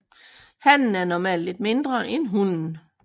Hannen er normalt lidt mindre end hunnen